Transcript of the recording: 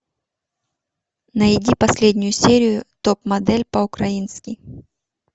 найди последнюю серию топ модель по украински